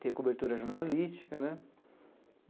ter cobertura jornalística né.